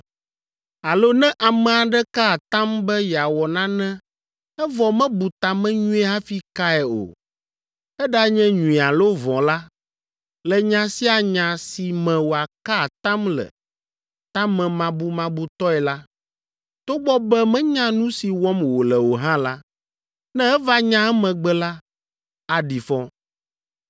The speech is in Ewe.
Alo ne ame aɖe ka atam be yeawɔ nane evɔ mebu ta me nyuie hafi kae o, eɖanye nyui alo vɔ̃ la, le nya sia nya si me wòaka atam le tamemabumabutɔe la, togbɔ be menya nu si wɔm wòle o hã la, ne eva nya emegbe la, aɖi fɔ.